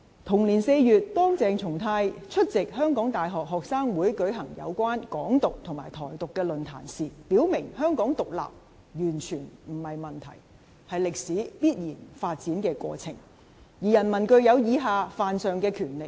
同年4月，當鄭松泰出席香港大學學生會舉辦有關"港獨"和"台獨"的論壇時，他表明香港獨立完全不是問題，是歷史必然發展的過程，而人民具有以下犯上的權力。